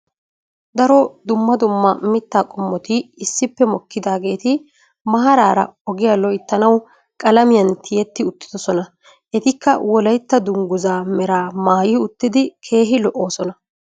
Daro dumma dumma mitaa qommoti issippe mokkidaageeti maaraara ogiya loytanawu qalamiyan tiyetti uttidosona. Etikka wolaytta danguzzaa meraa maayi uttidi keehi lo''oosona.